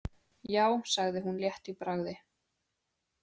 Já, sagði hún létt í bragði.